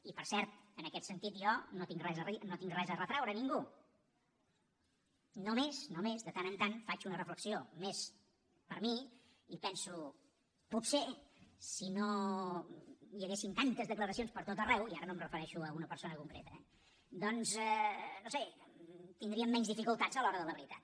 i per cert en aquest sentit jo no tinc res a retreure a ningú només només de tant en tant faig una reflexió més per a mi i penso potser si no hi haguessin tantes declaracions pertot arreu i ara no em refereixo a una persona concreta eh doncs no ho sé tindríem menys dificultats a l’hora de la veritat